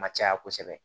Ma caya kosɛbɛ